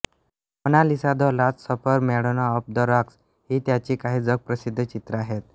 Mona Lisa the last supper Madonna of the rocks ही त्याची काही जगप्रसिद्ध चित्रे आहेत